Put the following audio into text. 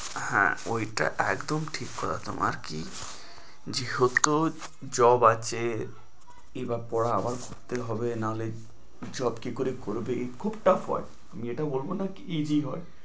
হ্যাঁ ঐটা একদম ঠিক করা। তোমার কি যেহেতু job আছে, কিবা পড়া আবার পড়তে হবে না হলে job কি করে করবে? খুব tuff হয়, আমি এটা বলবো না কি কি হয়।